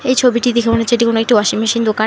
এই ছবিটি দেখে মনে হচ্ছে এটি কোনো একটি ওয়াশিং মেশিন দোকান।